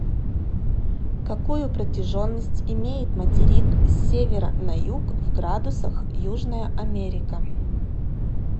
какую протяженность имеет материк с севера на юг в градусах южная америка